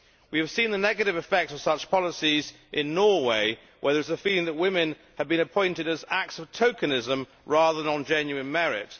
We have seen the negative effects of such policies in Norway, where there is a feeling that women have been appointed as acts of tokenism, rather than on genuine merit.